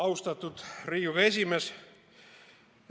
Austatud Riigikogu esimees!